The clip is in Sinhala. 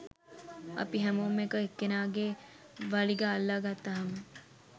අපි හැමෝම එක එක්කෙනාගෙ වලිග අල්ලගත්තාම